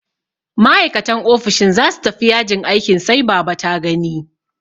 Ma'aikatan ofishin za su tafi yajin aikin sai baba ta gani.